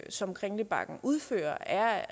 som kringlebakken udfører er